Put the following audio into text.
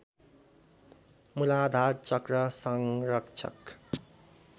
मूलाधार चक्र संरक्षक